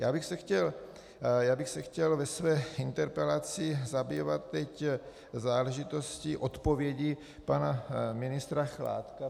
Já bych se chtěl ve své interpelaci zabývat teď záležitostí odpovědi pana ministra Chládka.